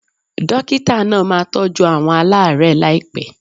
Dókítà náà máa tọ́jú àwọn alaarẹ laipe